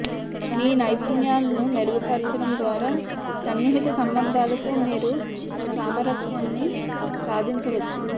మీ నైపుణ్యాలను మెరుగుపరచడం ద్వారా సన్నిహిత సంబంధాలలో మీరు సామరస్యాన్ని సాధించవచ్చు